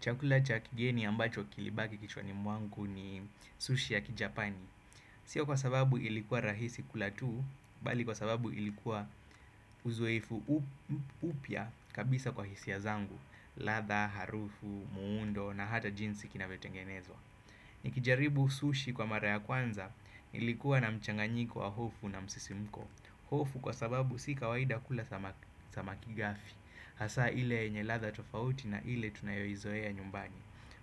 Chakula cha kigeni ambacho kilibaki kichwani mwangu ni sushi ya kijapani. Sio kwa sababu ilikuwa rahisi kula tu bali kwa sababu ilikuwa uzoefu upya kabisa kwa hisia zangu. Ladha, harufu, muundo na hata jinsi kinavyotengenezwa. Nikijaribu sushi kwa mara ya kwanza ilikuwa na mchanganyiko wa hofu na msisimko. Hofu kwa sababu si kawaida kula samaki samaki gafi. Hasa ile yenye ladha tofauti na ile tunayoizoea nyumbani.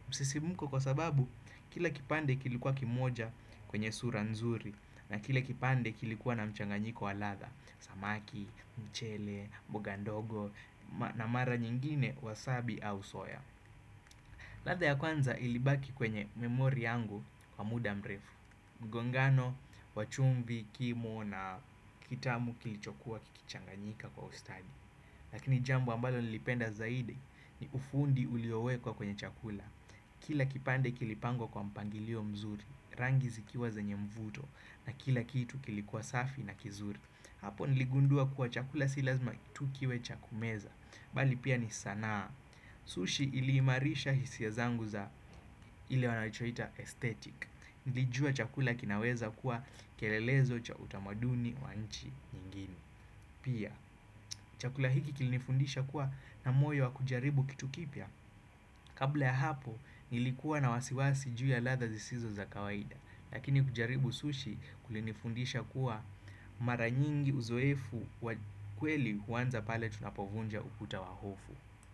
Msisimko kwa sababu kile kipande kilikuwa kimoja kwenye sura nzuri. Na kile kipande kilikuwa na mchanganyiko wa ladha. Samaki, mchele, mboga ndogo na mara nyingine wasabi au soya. Ladha ya kwanza ilibaki kwenye memori yangu kwa muda mrefu. Mgongano, wa chumvi, kimo na kitamu kilichokuwa kikichanganyika kwa ustadi. Lakini jambo ambalo nilipenda zaidi ni ufundi uliowekwa kwenye chakula. Kila kipande kilipangwa kwa mpangilio mzuri, rangi zikiwa zanye mvuto na kila kitu kilikuwa safi na kizuri. Hapo niligundua kuwa chakula si lazma tu kiwe cha kumeza, bali pia ni sanaa. Sushi iliimarisha hisia zangu za ile wanachoita aesthetic. Nilijua chakula kinaweza kuwa kielelezo cha utamaduni wa nchi nyingine. Pia, chakula hiki kilinifundisha kuwa na moyo wa kujaribu kitu kipya. Kabla ya hapo, nilikuwa na wasiwasi juu ya ladha zisizo za kawaida. Lakini kujaribu sushi kulinifundisha kuwa mara nyingi uzoefu kweli huanza pale tunapovunja ukuta wa hofu.